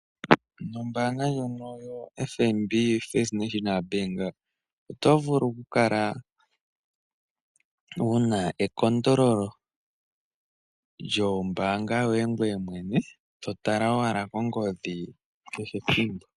Nombanga ndjono yaFNB ombanga yotango yopashigwana oto vulu oku kala wuna ekondololo lyombanga yoye gweye mwene totala owala ongodhi kehe ethimbo.